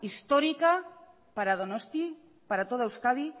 histórica para donosti para toda euskadi